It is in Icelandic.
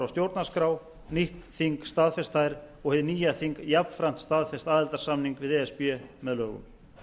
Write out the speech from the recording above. stjórnarskrá nýtt þing staðfest þær og hið nýja þing jafnframt staðfest aðildarsamning við e s b með lögum